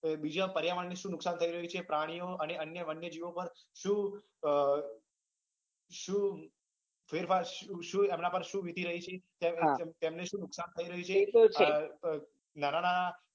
કે પર્યાવણ ને શું નુકસાન થઇ રહ્યું છે પ્રાણી નો અને વન્યજીવો પણ એમના પર શું વીતી રહી છે તેમને શું નુકશાન થઇ રહ્યું છે નાના નાના